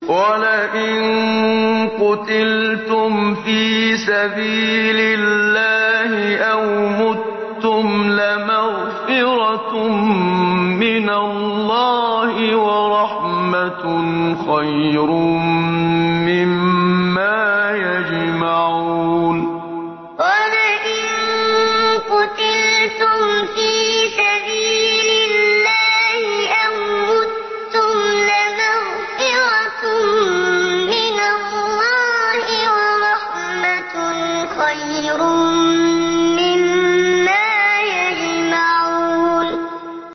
وَلَئِن قُتِلْتُمْ فِي سَبِيلِ اللَّهِ أَوْ مُتُّمْ لَمَغْفِرَةٌ مِّنَ اللَّهِ وَرَحْمَةٌ خَيْرٌ مِّمَّا يَجْمَعُونَ وَلَئِن قُتِلْتُمْ فِي سَبِيلِ اللَّهِ أَوْ مُتُّمْ لَمَغْفِرَةٌ مِّنَ اللَّهِ وَرَحْمَةٌ خَيْرٌ مِّمَّا يَجْمَعُونَ